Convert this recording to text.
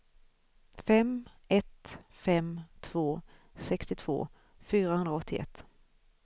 fem ett fem två sextiotvå fyrahundraåttioett